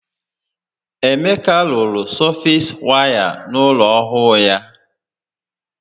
Emeka rụrụ sọfeesi waya n'ụlọ ọhụụ ya